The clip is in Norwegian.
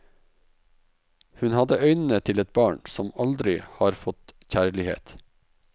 Hun hadde øynene til et barn som aldri har fått kjærlighet.